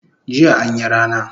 Jiya anyi rana